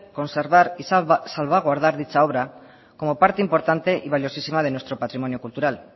conservar y salvaguardar dicha obra como parte importante y valiosísima de nuestro patrimonio cultural